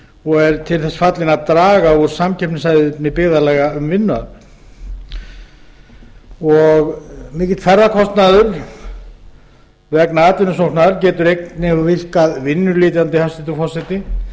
og er til þess fallinn að draga úr samkeppnishæfni byggðarlaga um vinnuafl mikill ferðakostnaður vegna atvinnusóknar getur einnig virkað vinnuletjandi hæstvirtur forseti